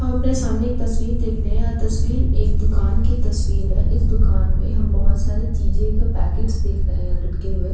अ पे सामने एक तस्वीर देख रहे हैं। तस्वीर एक दुकान की तस्वीर है। इस दुकान मे हम बहुत सारी चीजे की पैकेट देख रहे हैं लटके हुए।